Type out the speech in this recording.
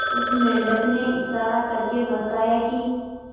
उस मेंढक ने इशारा करके बताया की